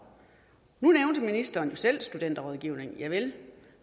nu nævnte ministeren jo selv studenterrådgivning javel